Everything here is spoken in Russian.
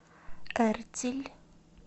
эртиль